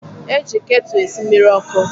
E ji ketụ esi mmiri ọkụ